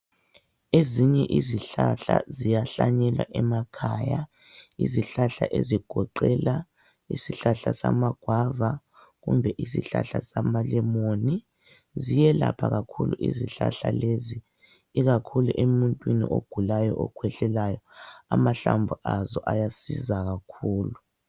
Ezinye izihlahla ziyahlanyelwa emakhaya, izihlahla ezigoqela isihlahla samagwava kumbe isihlahla samalemoni. Ziyelapha kakhulu izihlahla lezi, ikakhulu emuntwini ogulayo okhwehlelayo amahlamvu azo ayasiza kakhulu.